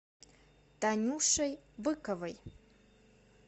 танюшей быковой